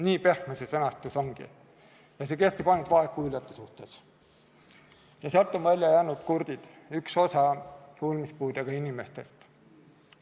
Nii pehme see sõnastus ongi ja see kehtib ainult vaegkuuljate suhtes, sealt on välja jäänud kurdid, üks osa kuulmispuudega inimestest.